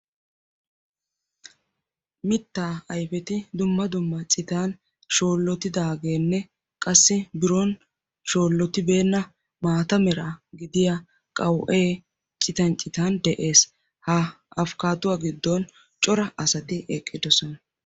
mitta ayfeti dumma dumma citan shoolotidaagenne qassi biron shoolotibeena maata mera gidiyaa qaw''e cotan citan des, ha afkkaaduwa giddon cora asati eqqidoosona.